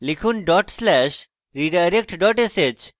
লিখুন dot slash redirect dot sh